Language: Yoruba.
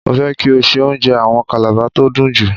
Mo fẹ́ kí o se oúnjẹ àwọn Kàlàba tó dùn jù.